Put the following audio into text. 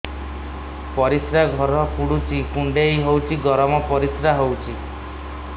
ପରିସ୍ରା ଘର ପୁଡୁଚି କୁଣ୍ଡେଇ ହଉଚି ଗରମ ପରିସ୍ରା ହଉଚି